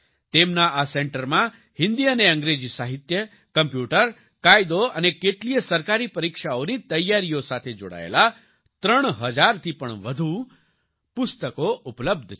તેમના આ સેન્ટરમાં હિન્દી અને અંગ્રેજી સાહિત્ય કોમ્પ્યુટર કાયદો અને કેટલીયે સરકારી પરીક્ષાઓની તૈયારીઓ સાથે જોડાયેલા 3000 થી પણ વધુ પુસ્તકો ઉપલબ્ધ છે